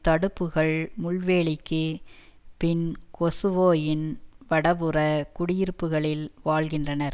தடுப்புக்கள் முள்வேலிக்குப் பின் கொசுவோவின் வடபுற குடியிருப்புகளில் வாழ்கின்றனர்